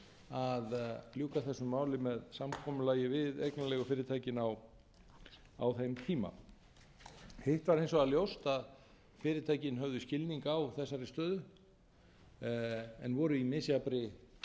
að ljúka þessu máli með samkomulagi við eignarleigufyrirtækin á þeim tíma hitt var hins vegar ljóst að fyrirtækin höfðu skilning á þessari stöðu en voru í misjafnri aðstöðu til þess